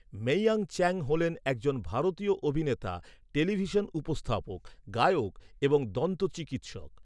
মেইয়াং চ্যাং হলেন একজন ভারতীয় অভিনেতা, টেলিভিশন উপস্থাপক, গায়ক এবং দন্ত চিকিৎসক।